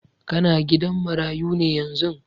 Ka na gidan marayu ne yanzun?